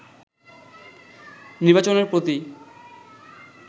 নির্বাচনের প্রতি